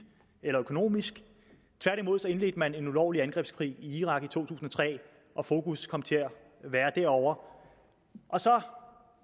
eller økonomisk tværtimod indledte man en ulovlig angrebskrig i irak i to tusind og tre og fokus kom til at være derovre så